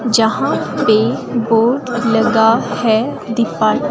जहां पे बोर्ड लगा है दीपा--